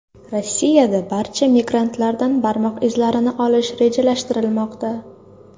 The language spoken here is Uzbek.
Rossiyada barcha migrantlardan barmoq izlarini olish rejalashtirilmoqda.